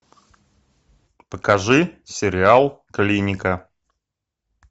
покажи сериал клиника